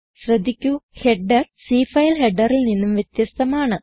ശ്രദ്ധിക്കു header C file ഹെഡറിൽ നിന്നും വ്യത്യസ്തമാണ്